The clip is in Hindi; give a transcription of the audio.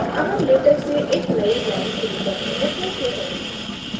अब हम latex से एक नयी line शुरू करने को कहते हैं